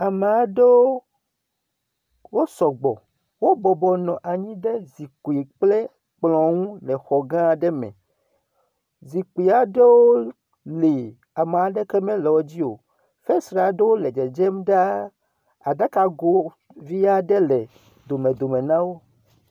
Ama aɖewo wosɔ gbɔ, wobɔbɔnɔ anyi ɖe zikpui kple kplɔ ŋu le xɔ gã aɖe me, zikpui aɖewo le ame aɖeke menɔ wodzi o. Fesre aɖewo le dzedzem ɖaa, aɖakago vi aɖe le domedome na wo.